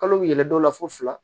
Kalo yɛlɛ dɔ la fo fila